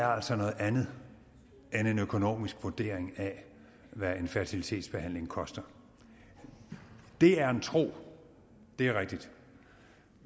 er altså noget andet end en økonomisk vurdering af hvad en fertilitetsbehandling koster det er en tro det er rigtigt